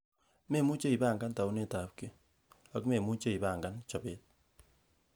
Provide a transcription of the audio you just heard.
Memuche ipangan taunetab kiy, ak memuche ipangan chobet.